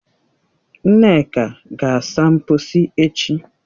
Nneka ga-asa mkposi echi